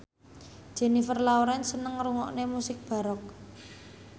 Jennifer Lawrence seneng ngrungokne musik baroque